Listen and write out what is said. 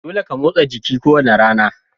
Dolle ka motsa jiki ko wani rana.